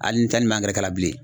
Ali n ta ni, man angɛrɛ k'a la bilen.